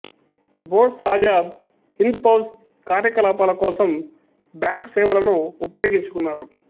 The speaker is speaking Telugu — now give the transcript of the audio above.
బోస్ ఆజాద్ హింద్ ఫౌజ్ కార్యకలాపాల కోసం బ్యాంక్ సేవలను ఉపయోగించుకున్నాడు